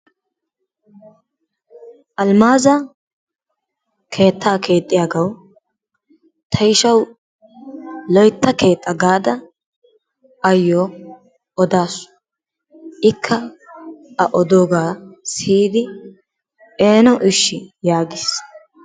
Alimaazza keettaa keexxiyagawu tayshawu loytta keexxa gaada ayoo odaasu ikka a odoogaa siyidi eeno ishshi yaagiis.